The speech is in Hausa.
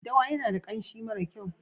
Daddawa yana da kanshi mara kyau.